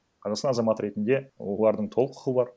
қазақстан азаматы ретінде олардың толық құқы бар